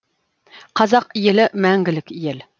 қазақ елі мәңгілік ел